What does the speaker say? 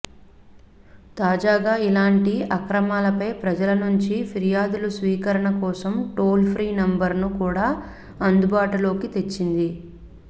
తాజాగా ఇలాంటి అక్రమాలపై ప్రజల నుంచి ఫిర్యాదుల స్వీకరణ కోసం టోల్ ఫ్రీ నంబరును కూడా అందుబాటులోకి తెచ్చింది